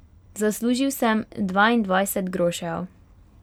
Zaslužil sem dvaindvajset grošev.